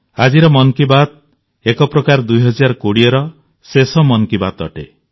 ଆଜିର ମନ୍ କି ବାତ୍ ଏକ ପ୍ରକାର 2020ର ଶେଷ ମନ୍ କି ବାତ୍ ଅଟେ